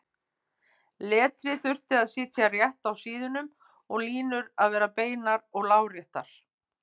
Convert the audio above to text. Letrið þurfti að sitja rétt á síðunum og línur að vera beinar og láréttar.